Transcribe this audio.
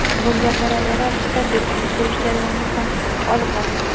Bunga parallel ravishda beton quyish jarayoni ham olib boriladi.